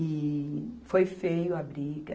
E foi feio a briga.